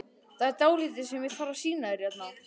Það er dálítið sem ég þarf að sýna þér hérna!